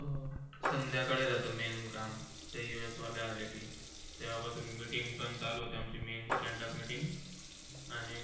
संध्याकाळी राहते Main काम ते US वाले आले कि तेव्हापासून Meeting पण चालू होते आम्ची Main stand-up meeting आणि मंग.